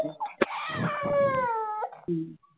हम्म